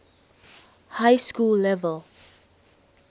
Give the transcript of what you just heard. high school level